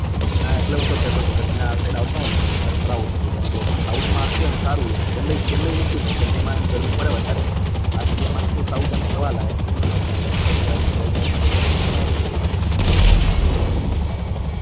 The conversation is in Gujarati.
હા એટલે હું તો કેહતો હતો કે ભાઈ તમે આ સાયડ આવતા હોય તો તમને ફરાવું થોડો બેંગ્લોર માં સોઉથ માં આખું એમ સારું હોય ચેન્નાઈ ચેન્નાઈ મૂકી દે ચેન્નાઈ માં ગરમી પડે વધારે બાકી આમતો આખું સોઉથ ફરવા લાયક છે એમને temapareture અને વેધર બધું સારું હોય છે